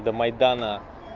до майдана